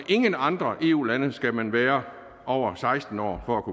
ingen andre eu lande skal man være over seksten år for